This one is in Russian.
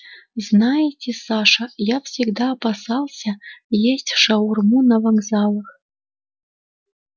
знаете саша я всегда опасался есть шаурму на вокзалах